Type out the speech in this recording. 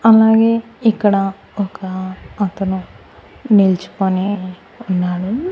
అలాగే ఇక్కడ ఒక అతను నిల్చుకొని ఉన్నాడు.